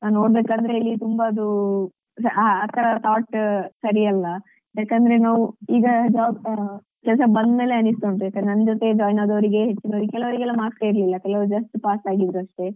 ನೋಡ್ಬೇಕಾದ್ರೆ ಇಲ್ಲಿ ತುಂಬ ಅದು ಆ ಆತರ thought ಸರಿ ಅಲ್ಲ ಯಾಕಂದ್ರೆ ನಾವ್ ಈಗ job ಕೆಲ್ಸಕ್ ಬಂದ್ಮೇಲೆ ಅನಿಸ್ತಾ ಉಂಟು ಯಾಕಂದ್ರೆ ನನ್ ಜೊತೆ join ಆದಾವ್ರಿಗೆ ಹೆಚ್ಚಿನವ್ರಿಗೆ ಕೆಲವರಿಗೆಲ್ಲ marks ಯೇ ಇಲ್ಲ ಕೆಲವರು just pass ಆಗಿದ್ರು ಅಷ್ಟೆ.